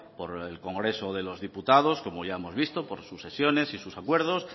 por el congreso de los diputados como ya hemos visto por sus sesiones y sus acuerdos